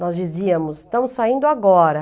Nós dizíamos, estamos saindo agora.